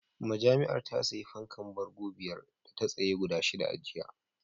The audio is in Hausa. Majami'ar ta sayi fankar bango biyar a tsaye da shida a jiya